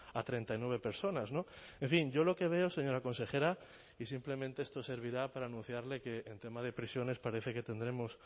a treinta y nueve personas en fin yo lo que veo señora consejera y simplemente esto servirá para anunciarle que en tema de prisiones parece que tendremos